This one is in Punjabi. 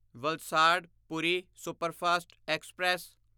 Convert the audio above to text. Valsad Puri superfast express